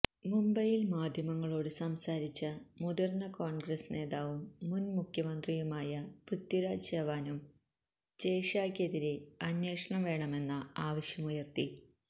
മുംബൈയില് മാധ്യമങ്ങളോട് സംസാരിച്ച മുതിര്ന്ന കോൺഗ്രസ് നേതാവും മുന് മുഖ്യമന്ത്രിയുമായ പൃഥ്വിരാജ് ചവാനും ജയ് ഷാക്കെതിരെ അന്വേഷണം വേണമെന്ന ആവശ്യമുയര്ത്തി